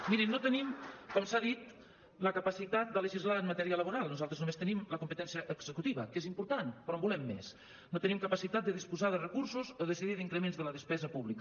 mirin no tenim com s’ha dit la capacitat de legislar en matèria laboral nosaltres només tenim la competència executiva que és important però en volem més no tenim capacitat de disposar de recursos o decidir increments de la despesa pública